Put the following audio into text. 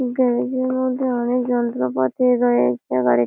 গাড়িটির মধ্যে অনেক যন্ত্রপাতি রয়েছে গাড়ি--